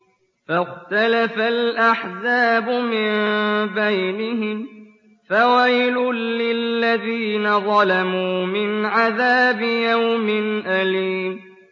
فَاخْتَلَفَ الْأَحْزَابُ مِن بَيْنِهِمْ ۖ فَوَيْلٌ لِّلَّذِينَ ظَلَمُوا مِنْ عَذَابِ يَوْمٍ أَلِيمٍ